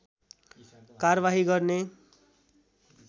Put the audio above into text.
कारवाही गर्ने